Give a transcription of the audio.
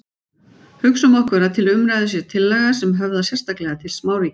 Hugsum okkur að til umræðu sé tillaga sem höfðar sérstaklega til smáríkja.